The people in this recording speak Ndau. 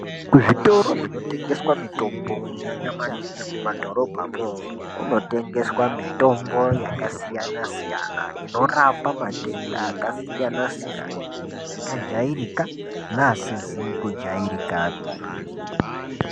Kuzvitoro zvinotengesa mitombo, kunyanya maningi mumadhorobhamwo, kunotengeswa mitombo yakasiyana-siyana inorapa matenda akasiyana-siyana, akajairika neasizi kujairikapi.